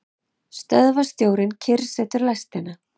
Stöðvarstjórinn kyrrsetur lestina.